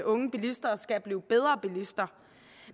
unge bilister skal blive bedre bilister